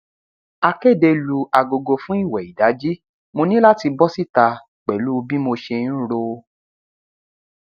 akéde lu agogo fún ìwẹ ìdajì mo ní láti bọ síta pẹlú bí mo ṣe ń ro